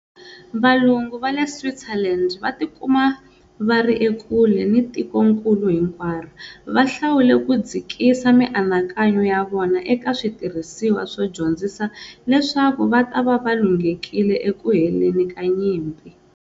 Valungu va le Switzerland, va tikuma va ri ekule ni tikonkulu hinkwaro, va hlawule ku dzikisa mianakanyo ya vona eka switirhisiwa swo dyondzisa leswaku va ta va va lunghekile eku heleni ka nyimpi.